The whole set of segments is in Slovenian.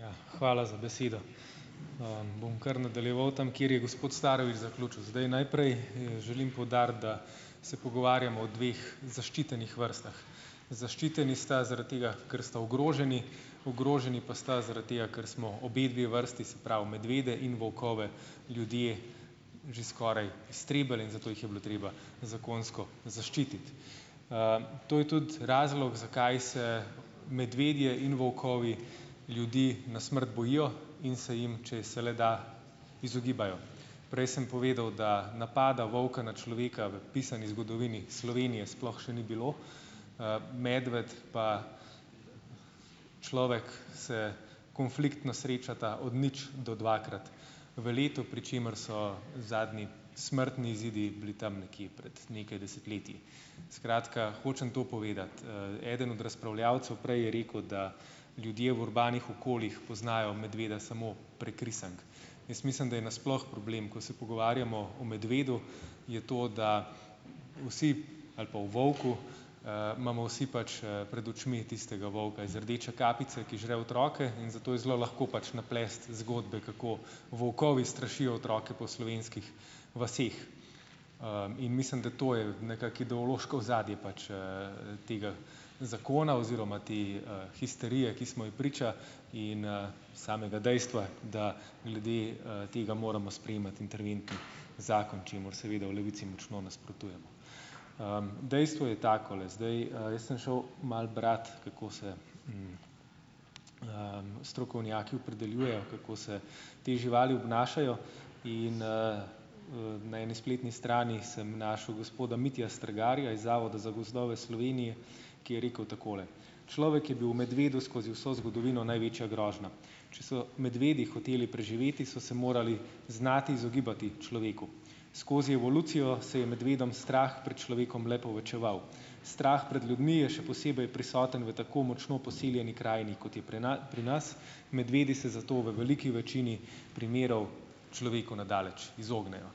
Ja, hvala za besedo. Bom kar nadaljeval tam, kjer je gospod Starović zaključil. Zdaj najprej želim poudariti, da se pogovarjamo o dveh zaščitenih vrstah. Zaščiteni sta zaradi tega, ker sta ogroženi, ogroženi pa sta zaradi tega, kar smo obe dve vrsti, se pravi medvede in volkove ljudje že skoraj iztrebili in zato jih je bilo treba zakonsko zaščititi. To je tudi razlog, zakaj se medvedje in volkovi ljudi na smrt bojijo in se jim, če se le da, izogibajo. Prej sem povedal, da napada volka na človeka v pisani zgodovini Slovenije sploh še ni bilo. Medved pa človek se konfliktno srečata od nič do dvakrat v letu, pri čemer so zadnji smrtni izidi bili tam nekje prej nekaj desetletji. Skratka, hočem to povedati - eden od razpravljavcev prej je rekel, da ljudje v urbanih okoljih poznajo medveda samo prek risank. Jaz mislim, da je nasploh problem, ko se pogovarjamo o medvedu, je to, da vsi ali pa o volku, imamo vsi pač, pred očmi tistega volka iz Rdeče kapice, ki žre otroke, in zato je zelo lahko pač naplesti zgodbe, kako volkovi strašijo otroke po slovenskih vaseh, in mislim, da to je nekako ideološko ozadje pač, tega zakona oziroma te, histerije, ki smo ji priča in, samega dejstva, da glede, tega moramo sprejemati interventni zakon, čemur seveda v Levici močno nasprotujemo. Dejstvo je takole, zdaj, jaz sem šel malo brat, kako se strokovnjaki opredeljujejo, kako se te živali obnašajo in, na eni spletni strani sem našel gospoda Mitja Strgarja iz Zavoda za gozdove Slovenije, ki je rekel takole: "Človek je bil medvedu skozi vso zgodovino največja grožnja. Če so medvedi hoteli preživeti, so se morali znati izogibati človeku. Skozi evolucijo se je medvedom strah pred človekom le povečeval. Strah pred ljudmi je še posebej prisoten v tako močno poseljeni krajini kot je pri pri nas, medvedi se zato v veliki večini primerov človeku na daleč izognejo."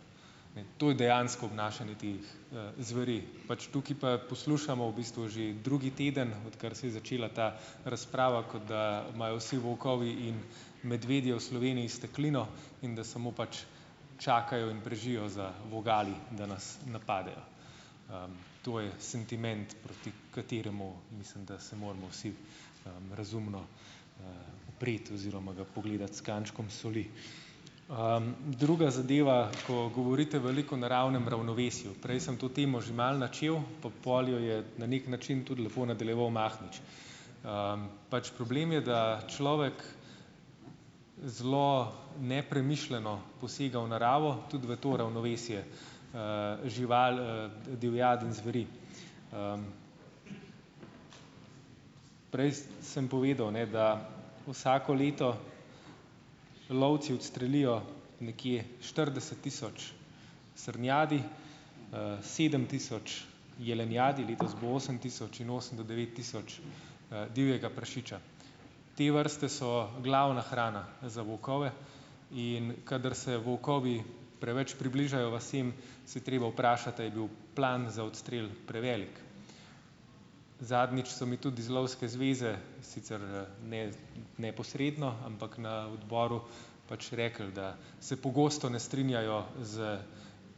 To je dejansko obnašanje teh, zveri. Pač tukaj pa poslušamo v bistvu že drugi teden, odkar se je začela ta razprava, kot da imajo vsi volkovi in medvedje v Sloveniji steklino in da samo pač čakajo in prežijo za vogali, da nas napadejo. To je sentiment, proti kateremu, mislim, da se moramo vsi, razumno, upreti oziroma ga pogledati s kančkom soli. Druga zadeva. Ko govorite veliko o naravnem ravnovesju. Prej sem to temo že malo načel, pa pol jo je na neki način tudi lepo nadaljeval Mahnič. Pač problem je, da človek zelo nepremišljeno posega v naravo, tudi v to ravnovesje, žival, divjad in zveri. Prej sem povedal, ne, da vsako leto lovci odstrelijo nekje štirideset tisoč srnjadi, sedem tisoč jelenjadi, letos bo osem tisoč in osem do devet tisoč, divjega prašiča. Te vrste so glavna hrana za volkove. In kadar se volkovi preveč približajo vasem, se je treba vprašati, a je bil plan za odstrel prevelik. Zadnjič so mi tudi iz Lovske zveze, sicer ne neposredno, ampak na odboru pač rekli, da se pogosto ne strinjajo s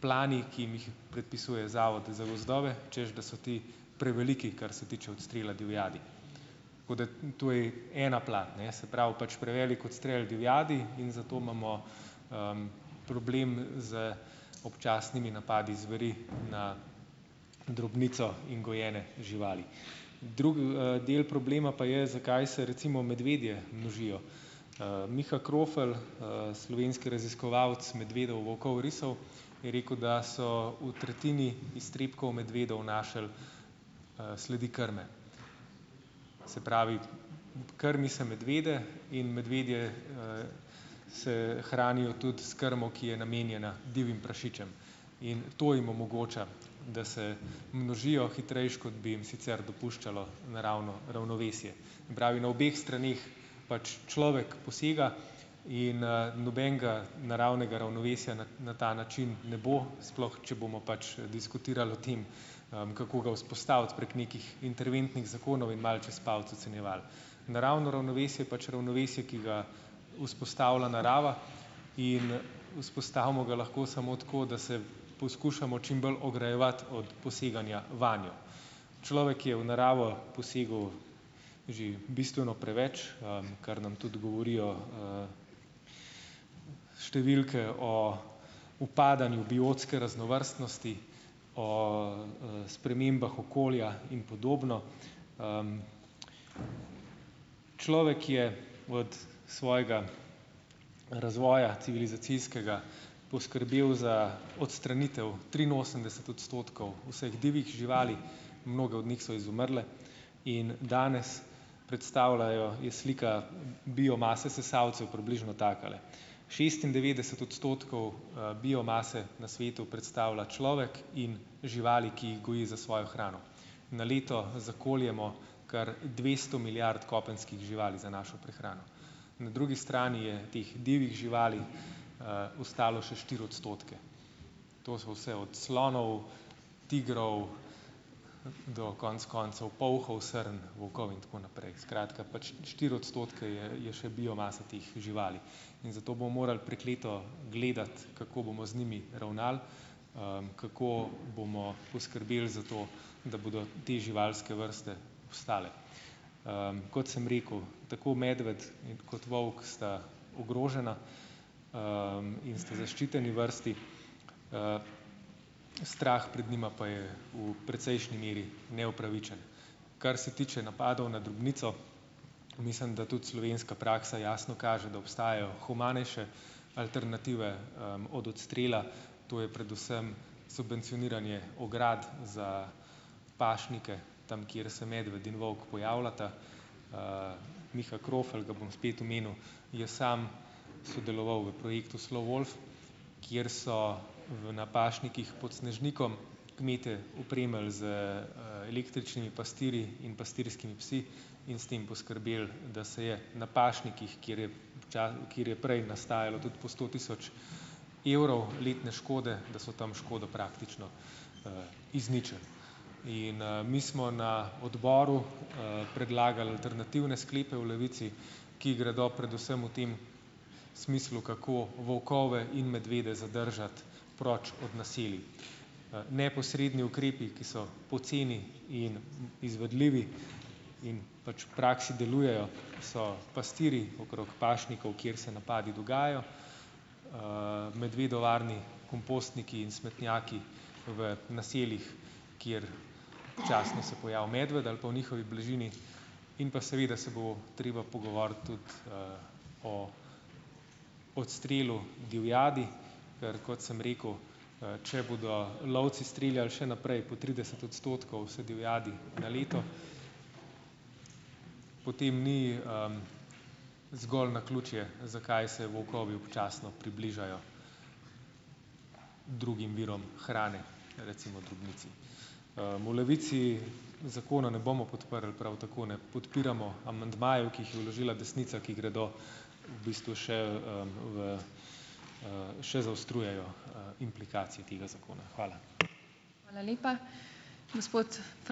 plani, ki jim jih predpisuje Zavod za gozdove, češ da so ti preveliki, kar se tiče odstrela divjadi. Tako da to je ena plat, ne, se pravi, pač prevelik odstrel divjadi in zato imamo, problem z občasnimi napadi zveri na drobnico in gojene živali. Drug, del problema pa je, zakaj se recimo medvedje množijo. Miha Krofl, slovenski raziskovalec medvedov, volkov, risov je rekel, da so v tretjini iztrebkov medvedov našli, sledi krme. Se pravi, krmi se medvede in medvedje, Se hranijo tudi s krmo, ki je namenjena divjim prašičem. In to jim omogoča, da se množijo hitreje, kot bi jim sicer dopuščalo naravno ravnovesje. Se pravi, na obeh straneh pač človek posega in, nobenega naravnega ravnovesja na ta način ne bo, sploh če bomo pač diskutirali o tem, kako ga vzpostaviti prek nekih interventnih zakonov in malo čez palec ocenjevali. Naravno ravnovesje je pač ravnovesje, ki ga vzpostavlja narava, in vzpostavimo ga lahko samo tako, da se poskušamo čim bolj ograjevati od poseganja vanjo. Človek je v naravo posegel že bistveno preveč, kar nam tudi govorijo, številke o upadanju biotske raznovrstnosti, o, spremembah okolja in podobno. Človek je od svojega razvoja civilizacijskega poskrbel za odstranitev triinosemdeset odstotkov vseh divjih živali, mnoge od nih so izumrle in danes predstavljajo, je slika biomase sesalcev približno takale: šestindevetdeset odstotkov, biomase na svetu predstavlja človek in živali, ki jih goji za svojo hrano. Na leto zakoljemo kar dvesto milijard kopenskih živali za našo prehrano. Na drugi strani je teh divjih živali, ostalo še štiri odstotke. To so vse od slonov, tigrov, do konec koncev polhov, srn, volkov in tako naprej. Skratka, pač štiri odstotke je, je še biomase teh živali. In zato bomo morali prekleto gledati, kako bomo z njimi ravnali, kako bomo poskrbeli za to, da bodo te živalske vrste obstale. Kot sem rekel, tako medved kot volk sta ogrožena, in sta zaščiteni vrsti. Strah pred njima pa je v precejšnji meri neupravičen. Kar se tiče napadov na drobnico. Mislim, da tudi slovenska praksa jasno kaže, da obstajajo humanejše alternative, od odstrela, to je predvsem subvencioniranje ograd za pašnike, tam, kjer se medved in volk pojavljata. Miha Krofl, ga bom spet omenil, je sam sodeloval v projektu Slo wolf, kjer so v na pašnikih pod Snežnikom kmetje opremili z, električnimi pastirji in pastirskimi psi in s tem poskrbeli, da se je na pašnikih, kjer je, kjer je prej nastajalo tudi po sto tisoč evrov letne škode, da so tam škodo praktično, izničili. In, mi smo na odboru, predlagali alternativne sklepe v Levici, ki gredo predvsem v tem smislu, kako volkove in medvede zadržati proč od naselij. Neposredni ukrepi, ki so poceni in izvedljivi in pač v praksi delujejo, so pastirji okrog pašnikov, kjer se napadi dogajajo. Medvedovarni kompostniki in smetnjaki v naseljih, kjer občasno se pojavi medved ali pa v njihovi bližini, in pa seveda se bo treba pogovoriti tudi, o odstrelu divjadi. Ker kot sem rekel, če bodo lovci streljali še naprej po trideset odstotkov vse divjadi na leto, potem ni, zgolj naključje, zakaj se volkovi občasno približajo drugim virom hrane, recimo drobnici. V Levici zakona ne bomo podprli, prav tako ne podpiramo amandmajev, ki jih je vložila desnica, ki gredo, v bistvu še, v, še zaostrujejo, implikacije tega zakona. Hvala.